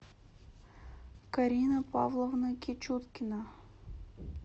карина павловна кичуткина